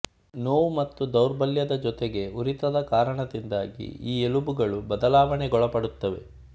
ನೋವು ಮತ್ತು ದೌರ್ಬಲ್ಯದ ಜೊತೆಗೆ ಉರಿತದ ಕಾರಣದಿಂದಾಗಿ ಈ ಎಲುಬುಗಳು ಬದಲಾವಣೆಗೊಳಪಡುತ್ತವೆ